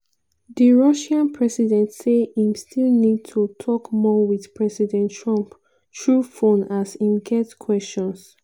di russian president say im still need to tok more wit president trump through phone as im get questions